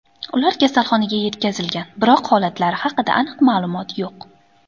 Ular kasalxonaga yetkazilgan, biroq holatlari haqida aniq ma’lumot yo‘q.